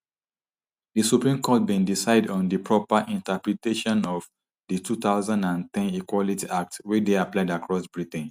di supreme court bin decide on di proper interpretation of di two thousand and ten equality act wey dey applied across britain